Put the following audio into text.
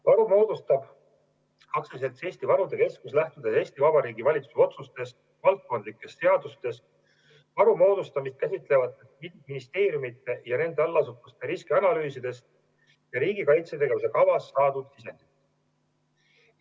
Varu moodustab AS Eesti Varude Keskus, lähtudes Eesti Vabariigi valitsuse otsustest, valdkondlikest seadustest, varu moodustamist käsitlevatest ministeeriumide ja nende allasutuste riskianalüüsidest ja riigi kaitsetegevuse kavast saadud sisendist.